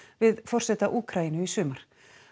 við forseta Úkraínu í sumar